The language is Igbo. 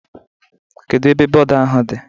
Kedu ebe bọọdu ahụ di?